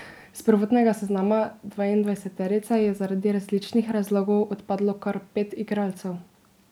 S prvotnega seznama dvaindvajseterice je zaradi različnih razlogov odpadlo kar pet igralcev.